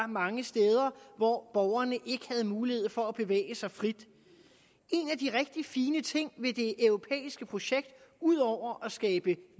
mange steder hvor borgerne ikke havde mulighed for at bevæge sig frit en af de rigtig fine ting ved det europæiske projekt ud over at skabe